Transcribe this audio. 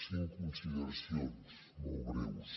cinc consideracions molt breus